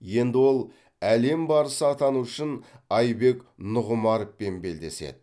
енді ол әлем барысы атану үшін айбек нұғымаровпен белдеседі